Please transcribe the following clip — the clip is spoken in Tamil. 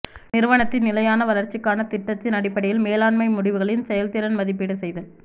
நிறுவனத்தின் நிலையான வளர்ச்சிக்கான திட்டத்தின் அடிப்படையில் மேலாண்மை முடிவுகளின் செயல்திறன் மதிப்பீடு செய்தல்